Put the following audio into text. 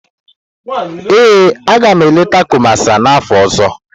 Ee, agam eleta Kumasi n'afọ ọzọ.